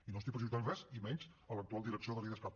i no estic prejutjant res i menys a l’actual direcció de l’idescat